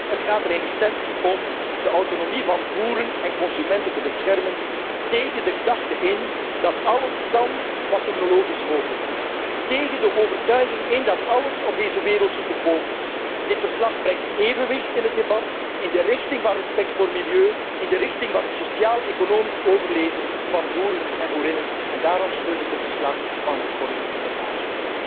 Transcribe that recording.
Het gaat er in essentie om de autonomie van boeren en consumenten te beschermen, tegen de gedachte in dat alles kan wat technologisch mogelijk is, tegen de overtuiging in dat alles op deze wereld te koop is. Dit verslag brengt evenwicht in het debat in de richting van respect voor milieu, in de richting van het sociaal economisch overleven van boeren en boerinnen en daarom steun ik het verslag van Corinne Lepage.